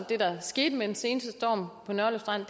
det der skete med den seneste storm på nørløv strand